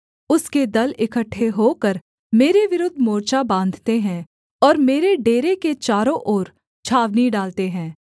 उसके दल इकट्ठे होकर मेरे विरुद्ध मोर्चा बाँधते हैं और मेरे डेरे के चारों ओर छावनी डालते हैं